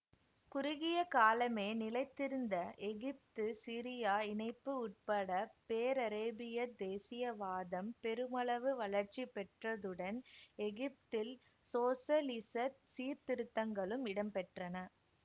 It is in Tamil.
குறுகிய காலமே நிலைத்திருந்த எகிப்துசிரியா இணைப்பு உட்பட பேரரேபியத் தேசியவாதம் பெருமளவு வளர்ச்சி பெற்றதுடன் எகிப்தில் சோசலிச சீர்திருத்தங்களும் இடம்பெற்றன